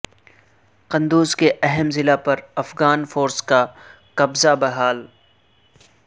قندوز کے اہم ضلع پر افغان فورسز کا قبضہ بحال